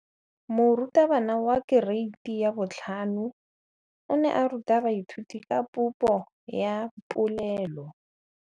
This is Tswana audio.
Moratabana wa kereiti ya 5 o ne a ruta baithuti ka popô ya polelô.